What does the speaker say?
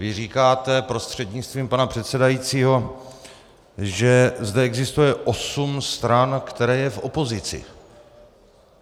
Vy říkáte, prostřednictvím pana předsedajícího, že zde existuje osm stran, které jsou v opozici.